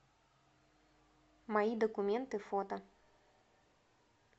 мои документы фото